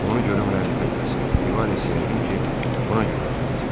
Onu görüm lənətə gəlsin, Rivares yəqin ki, buna görə özünü itirdi.